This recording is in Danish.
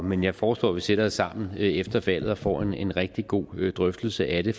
men jeg foreslår at vi sætter os sammen efter valget og får en rigtig god drøftelse af det